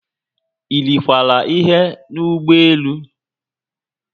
Irikwara ihe n'ụgbọelu?